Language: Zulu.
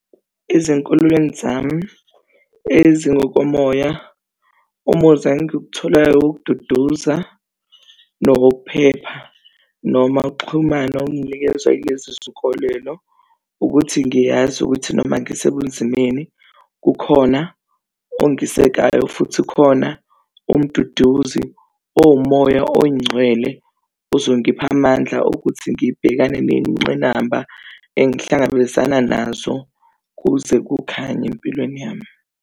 Ezinkolweni zami ezingokomoya, umuzi engiwutholayo wokududuza nowokuphepha noma ukuxhumana enginikezwa yilezi zinkolelo. Ukuthi ngiyazi ukuthi noma ngisebunzimeni kukhona ongisekayo futhi khona umduduzi owumoya oyingcwele ozongipha amandla okuthi ngibhekane nezingqinamba engihlangabezana nazo kuze kukhanye empilweni yami.